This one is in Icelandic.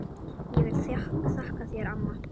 Ég vil þakka þér amma.